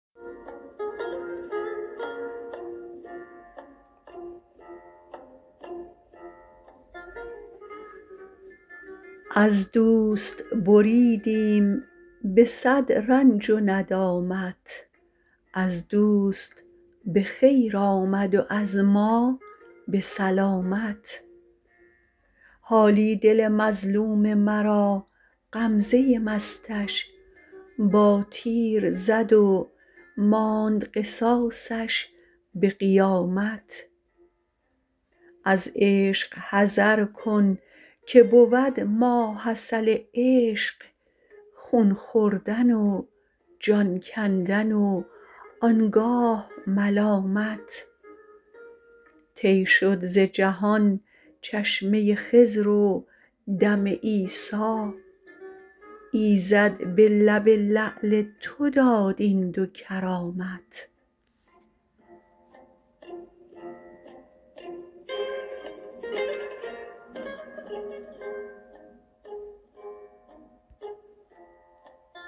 از دوست بریدیم به صد رنج و ندامت از دوست به خیر آمد و از ما به سلامت حالی دل مظلوم مرا غمزه مستش با تیر زد و ماند قصاصش به قیامت از عشق حذرکن که بود ماحصل عشق خون خوردن و جان کندن و آنگاه ملامت طی شد زجهان چشمه خضر ودم عیسی ایزد به لب لعل تو داد این دو کرامت